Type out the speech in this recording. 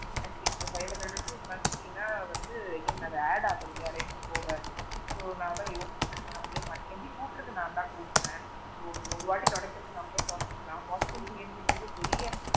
Atleast இப்போ five hundred rupees monthly னா வந்து again அது add ஆகும் இல்லையா rent போக so அதான் நான் யோசிச்சேன் நாமலே பண்ணிடலாம் maybe கூற்றது நான் தான் கூட்டுறேன், so ஒரு வாட்டி துடைக்கிறது நாமலே துடைச்சுக்கலாம் washroom clean பண்றது பெரிய,